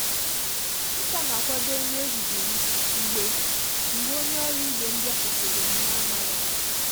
Nkà na akwado nri ehihie m mgbe mgbe onye ọrụ ibe m bịakwutere m na amaghị ama.